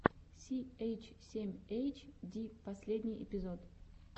си эйч семь эйч ди последний эпизод